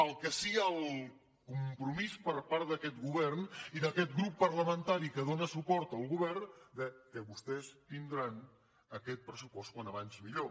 el que sí el compromís per part d’aquest govern i d’aquest grup parlamentari que dóna suport al govern que vostès tindran aquest pressupost com més aviat millor